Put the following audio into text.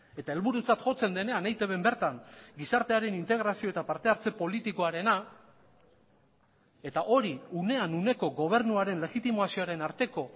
eta helburutzat jotzen denean eitbn bertan gizartearen integrazio eta partehartze politikoarena eta hori unean uneko gobernuaren legitimazioaren arteko